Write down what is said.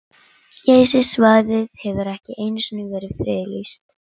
Geysissvæðið hefur ekki einu sinni verið friðlýst.